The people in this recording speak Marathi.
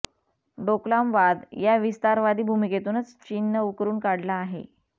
डोकलाम वाद या विस्तारवादी भूमिकेतूनच चीननं उकरून काढला आहे